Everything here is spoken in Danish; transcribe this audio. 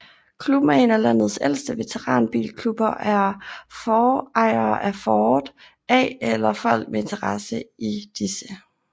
Klubben er en af landets ældste veteranbilklubber og er for ejere af Ford A eller folk med interesse i disse